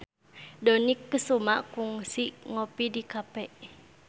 Dony Kesuma kungsi ngopi di cafe